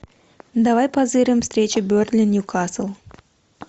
давай позырим встречи бернли ньюкасл